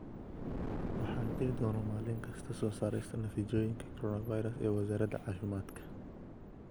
Waxaa jiri doona maalin kasta soo saarista natiijooyinka coronavirus ee Wasaaradda Caafimaadka.